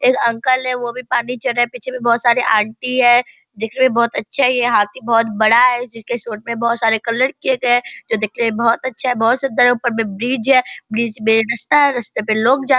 एक अंकल है वो भी पानी चढ़े है पीछे में बहुत सारे आंटी है दिखने में बहुत अच्छा है ये हाथी बहुत बड़ा है जिसके सूंड में बहुत सारे कलर किए गए है जो दिखने में बहुत अच्छा है बहुत सुन्दर है ऊपर में ब्रिज है ब्रिज में रास्ता है रस्ते में लोग जा --